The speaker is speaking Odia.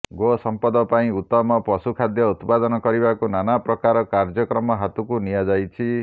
ଗୋସଂପଦ ପାଇଁ ଉତ୍ତମ ପଶୁଖାଦ୍ୟ ଉତ୍ପାଦନ କରିବାକୁ ନାନା ପ୍ରକାର କାର୍ଯ୍ୟକ୍ରମ ହାତକୁ ନିଆଯାଇଛି